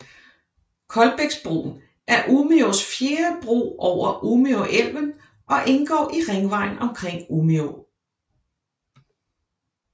Kolbäcksbron er Umeås fjerde bro over Umeälven og indgår i ringvejen omkring Umeå